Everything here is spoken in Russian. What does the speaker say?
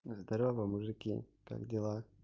здорово мужики как дела